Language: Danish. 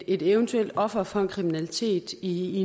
et eventuelt offer for en kriminalitet i